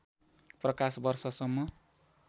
प्रकाश वर्षसम्म